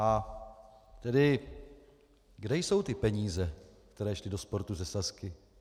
A tedy kde jsou ty peníze, které šly do sportu ze Sazky?